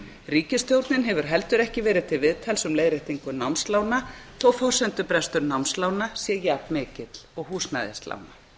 ríkisstjórnin hefur heldur ekki verið til viðtals um leiðréttingu námslána þó forsendubrestur námslána sé jafn mikill og húsnæðislána